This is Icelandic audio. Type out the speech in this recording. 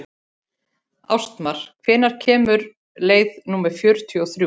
Ástmar, hvenær kemur leið númer fjörutíu og þrjú?